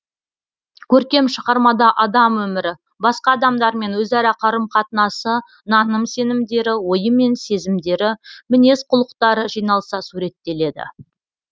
көркем шығармада адам өмірі басқа адамдармен өзара қарым қатынасы наным сенімдері ойы мен сезімдері мінез құлықтары жиналса суреттеледі